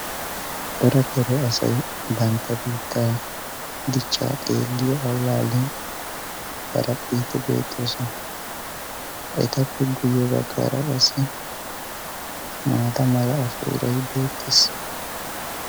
Corattidda asay bantta biittaa dichchaa xeelliya allaalliyan haraphphiiddi beettoosona. Etappe guyye baggaara qassi maata mala ashuuray beettees.